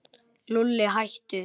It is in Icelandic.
Lúlli, hættu.